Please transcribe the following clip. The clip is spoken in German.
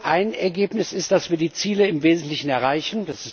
Ein Ergebnis ist, dass wir die Ziele im Wesentlichen erreichen.